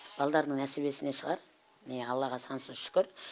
балдардың несібесіне шығар міне аллаға сансыз шүкір